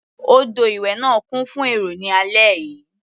Odò ìwẹ̀ náà kún fún èrò ní alẹ́ yìí.